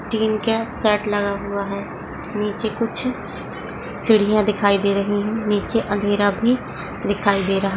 तीन gas set लगा हुआ है नीचे कुछ सीढ़िया दिखाई दे रही है नीचे अंधेरा भी दिखाई दे रहा--